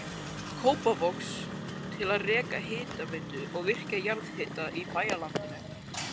Kópavogs til að reka hitaveitu og virkja jarðhita í bæjarlandinu.